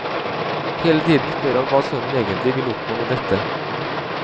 Hele tiden spør han hva sønnen egentlig vil oppnå med dette.